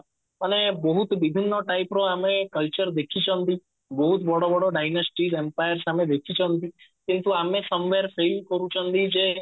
ତାହେଲେ ବହୁତ ବିଭିନ୍ନ type ର ଆମେ culture ଦେଖିଛନ୍ତି ବହୁତ ବଡ ବଡ diagnostic empire ଆମେ ଦେଖିଛନ୍ତି କିନ୍ତୁ ଆମ ସାମ୍ନାରେ ସେଇ କରୁଛନ୍ତି ଯେ